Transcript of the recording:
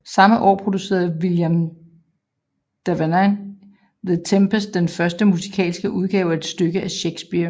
Samme år producerede William Davenant The Tempest den første musikalske udgave af et stykke af Shakespeare